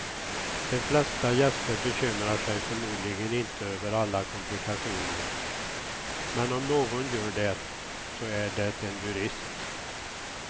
De flesta gäster bekymrar sig förmodligen inte över alla komplikationer, men om någon gör det så är det en jurist.